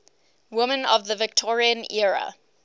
women of the victorian era